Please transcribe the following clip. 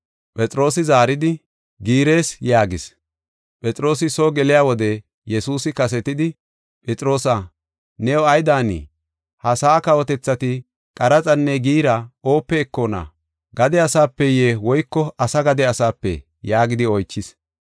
Phexroosi zaaridi, “Giirees” yaagis. Phexroosi soo geliya wode Yesuusi kasetidi, “Phexroosa, new ay daanii? Ha sa7aa kawotethati qaraxanne giira oope ekona? Gade asapeye woyko asa gade asapee?” yaagidi oychis.